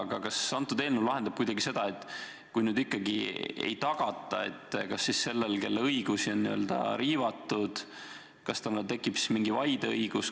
Aga kas eelnõu arvestab kuidagi seda, et kui seda siiski ei tagata, kas siis sellel, kelle õigusi on riivatud, tekib mingi vaideõigus?